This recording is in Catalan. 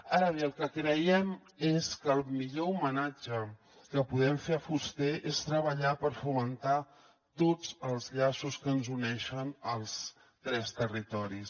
ara bé el que creiem és que el millor homenatge que podem fer a fuster és treballar per fomentar tots els llaços que ens uneixen als tres territoris